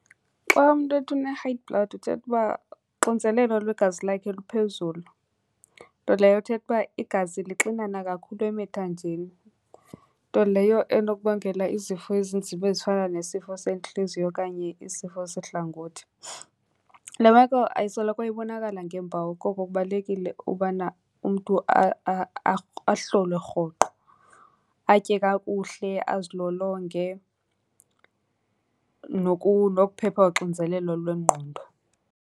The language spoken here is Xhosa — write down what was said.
Xa umntu ethi une-high blood uthetha uba uxinzelelo lwegazi lakhe luphezulu, nto leyo ithetha uba igazi lixanana kakhulu emithanjeni. Nto leyo enokubangela izifo ezinzima ezifana nesifo sentliziyo okanye isifo sehlangothi. Le meko ayisoloko ibonakala ngeempawu, koko kubalulekile ubana umntu ahlolwe rhoqo, atye kakuhle, azilolonge, nokuphepha uxinzelelo lwengqondo.